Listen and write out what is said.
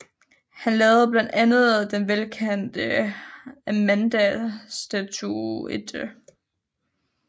Han lavede blandt andet den velkendte Amandastatuetten